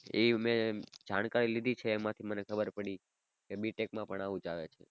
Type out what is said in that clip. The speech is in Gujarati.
એ મે જાણકારી લીધી છે એમાંથી મને ખબર પડી કે B Tech પણ આવું જ આવે છે.